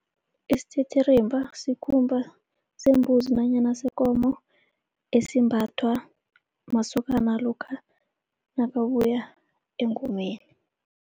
Isititirimba sikhumba sembuzi nanyana sekomo esimbathwa masokana lokha nakabuya engomeni.